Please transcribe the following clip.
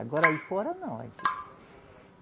Agora aí fora, não.